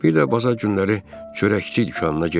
Bir də bazar günləri çörəkçi dükanına getmə.